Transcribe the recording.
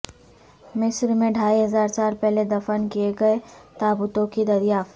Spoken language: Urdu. مصر میں ڈھائی ہزار سال پہلے دفن کیے گئے تابوتوں کی دریافت